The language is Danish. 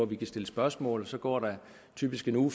vi kan stille spørgsmål og så går der typisk en